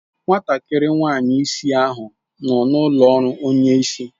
Nwatakịrị nwanyị isi ahụ nọ n'ụlọ ọrụ onye isi.